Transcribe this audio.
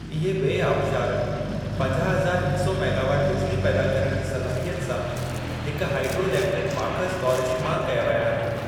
इहे ॿिऐ आबशारु पंजाह हज़ार हिक सौ मेगावाट बिजिली पैदा करणु जी सलाहियत सां हिक हाइड्रो इलेक्ट्रिक माख़ज़ तौर इस्तेमाल कया विया आहिनि।